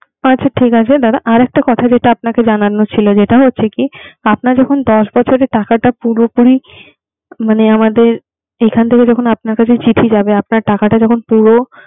আচ্ছা ঠিক আছে। আর একটা কথা জানানোর ছিলো। যেটা হচ্ছে কি। আপনার যখন দশ বছর টাকাটা পুরোপুরি মানে আমাদের এখান থেকে যখন আপনার কাছে চিঠি যাবে। আপনার টাকাটা পুরো